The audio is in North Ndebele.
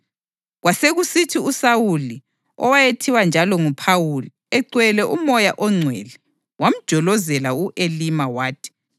Kwasekusithi uSawuli, owayethiwa njalo nguPhawuli, egcwele uMoya oNgcwele, wamjolozela u-Elima wathi,